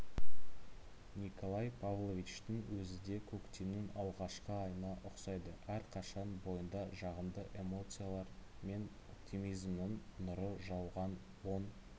николай павловичтің өзіде көктемнің алғашқы айына ұқсайды әрқашан бойында жағымды эмоциялар мен оптимизмнің нұры жауған оң